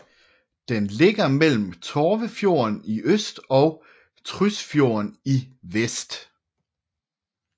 Den ligger mellem Torvefjorden i øst og Trysfjorden i vest